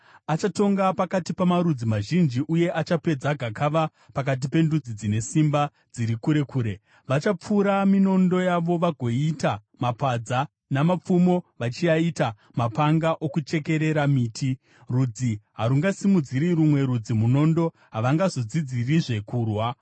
Achatonga pakati pamarudzi mazhinji uye achapedza gakava pakati pendudzi dzine simba dziri kure kure. Vachapfura minondo yavo vagoiita mapadza, namapfumo vachiaita mapanga okuchekerera miti. Rudzi harungasimudziri rumwe rudzi munondo, havangazodzidzirizve kurwa.